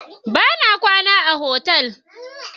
Bana kwana a otal.